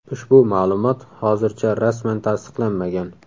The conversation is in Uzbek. Ushbu ma’lumot hozircha rasman tasdiqlanmagan.